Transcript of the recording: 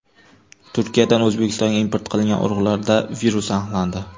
Turkiyadan O‘zbekistonga import qilingan urug‘larda virus aniqlandi.